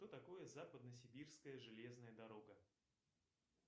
что такое западно сибирская железная дорога